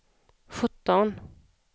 sjutton